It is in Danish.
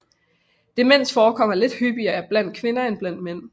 Demens forekommer lidt hyppigere blandt kvinder end blandt mænd